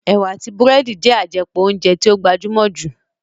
Ẹ̀wà àti búrẹ́dì jẹ́ àjẹpọ̀ óúnjẹ tí ó gbajúmọ̀ jù